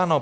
Ano.